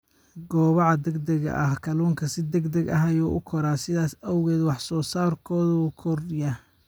Kobaca Degdega ah Kalluunku si degdeg ah ayuu u koraa, sidaas awgeedna wax soo saarkoodu wuu kordhiyaa.